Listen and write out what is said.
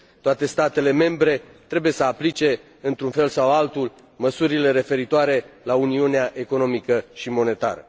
Toate statele membre trebuie să aplice, într un fel sau altul, măsurile referitoare la uniunea economică și monetară.